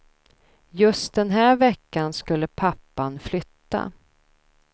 Just den här veckan skulle pappan flytta.